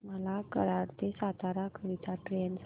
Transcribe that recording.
मला कराड ते सातारा करीता ट्रेन सांगा